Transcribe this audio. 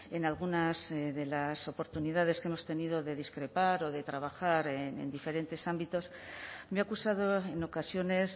en algunas de las oportunidades que hemos tenido de discrepar o de trabajar en diferentes ámbitos me ha acusado en ocasiones